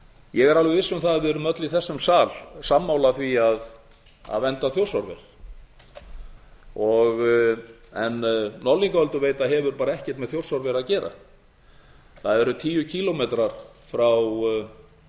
ég er alveg viss um það að við erum öll í þessum sal sammála því að vernda þjórsárver en norðlingaölduveita hefur bara ekkert með þjórsárver að gera það eru tíu kílómetrar frá